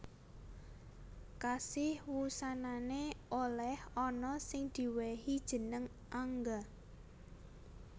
Kasih wusanané olèh anak sing diwèhi jeneng Angga